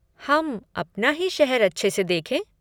हम अपना ही शहर अच्छे से देखें?